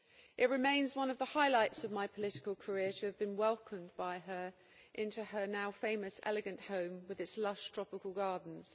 It remains one of the highlights of my political career to have been welcomed by her into her now famous elegant home with its lush tropical gardens.